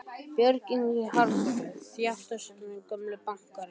Björn Ingi Hrafnsson, þáttastjórnandi: Gömlu bankarnir?